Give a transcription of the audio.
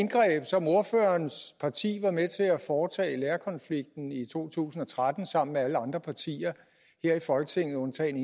indgreb som ordførerens parti var med til at foretage i lærerkonflikten i to tusind og tretten sammen med alle andre partier her i folketinget undtagen